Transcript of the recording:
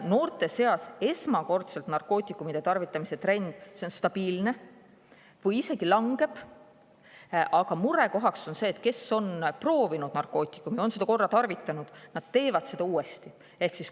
Noorte seas esmakordselt narkootikumi tarvitamise trend on stabiilne või isegi langeb, aga murekoht on see, et kes kord on narkootikumi proovinud, seda korra tarvitanud, see teeb seda uuesti.